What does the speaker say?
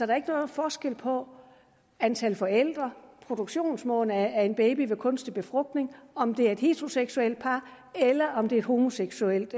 er ikke nogen forskel på antal forældre og produktionsmåden af en baby ved kunstig befrugtning om det er et heteroseksuelt par eller om det er et homoseksuelt